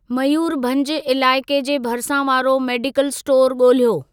मयूरभंज इलाइके जे भरिसां वारो मेडिकल स्टोर ॻोल्हियो।